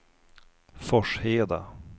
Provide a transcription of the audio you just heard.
Forsheda